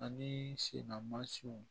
Ani sennamansiw